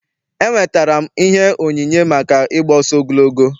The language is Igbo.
Enwetara m ihe onyinye maka ị gba ọsọ ogologo.